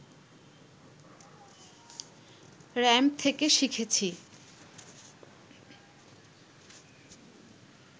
ramp থেকে শিখেছি